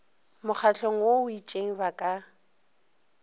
mokgahlong o itšeng ba ka